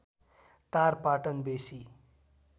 टार पाटन बेसी